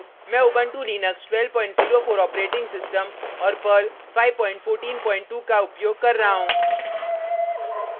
मैं उबंटु लिनक्स1204 operating system और पर्ल 5142 का उपयोग कर रहा हूँ